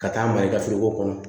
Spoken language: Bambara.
Ka taa mara i ka foroko kɔnɔ